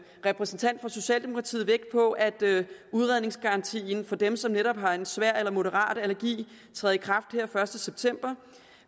repræsentant for socialdemokratiet vægt på at udredningsgarantien for dem som netop har en svær eller moderat allergi træder i kraft her den første september